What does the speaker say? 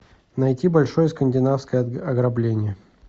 найти большое скандинавское ограбление